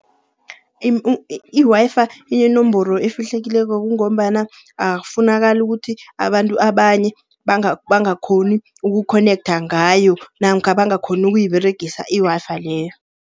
I-Wi-Fi inenomboro efihlekileko kungombana akufunakali ukuthi abantu abanye bakghoni ukukhonektha ngayo. Namkha bangakghoni ukuyiberegisa i-Wi-Fi leyo.